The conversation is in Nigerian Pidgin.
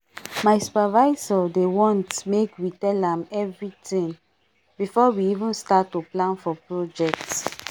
my supervisor dey want make we tellam everything before we even start to plan for project